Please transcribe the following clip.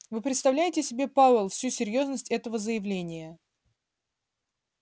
вы представляете себе пауэлл всю серьёзность этого заявления